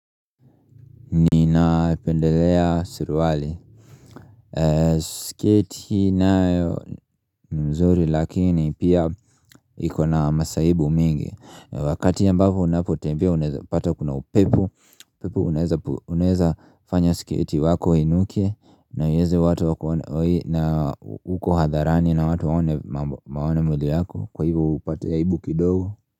Ninapendelea suruwali sketi nayo ni mzuri lakini pia ikona masaibu mingi Wakati ambapo unapotembea unaezapata kuna upepo upepo unaeza unezafanya sketi wako uinuke na iweze watu wakuone na uko hadharani na watu waone mambo waone mwili yako Kwa hivyo upate aibu kidogo.